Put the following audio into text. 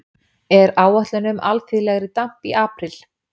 er áætlun um alþýðlegri damp í apríl